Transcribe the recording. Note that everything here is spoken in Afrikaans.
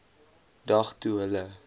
dag toe hulle